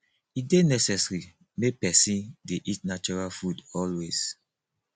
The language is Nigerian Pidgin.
e dey necessary make pesin dey eat natural food always